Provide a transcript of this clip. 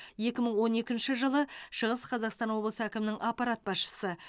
екі мың он екінші жылы шығыс қазақстан облысы әкімінің аппарат басшысы